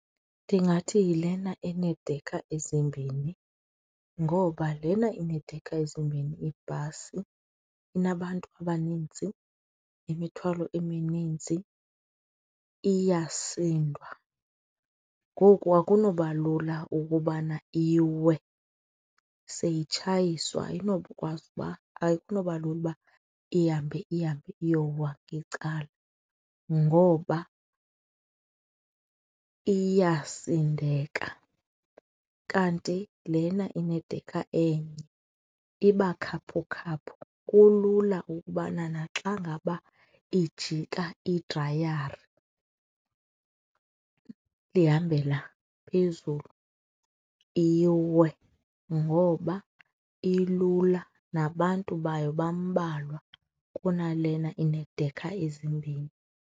Ndingathi yilena enedekha ezimbhini ngoba lena ineedekha ezimbini ibhasi inabantu abaninzi, imithwalo emininzi iyasindwa. Ngoku akunoba lula ukubana iwe, seyitshayiswa ayinokwazi uba, akunoba lula uba ihambe ihambe iyowa ngecala ngoba iyasindeka. Kanti lena inedekha enye iba khaphukhaphu, kulula ukubana naxa ngaba ijika iidrayari ihambela phezulu, iwe ngoba ilula nabantu bayo bambalwa kunalena ineedekha ezimbini.